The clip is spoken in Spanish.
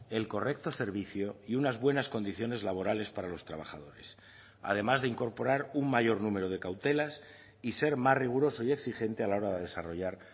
el correcto servicio y unas buenas condiciones laborales para los trabajadores además de incorporar un mayor número de cautelas y ser más riguroso y exigente a la hora de desarrollar